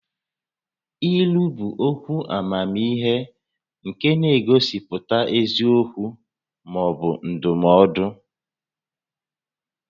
Ílú bụ okwu amamihe nke na-egosipụta eziokwu maọbụ ndụmọdụ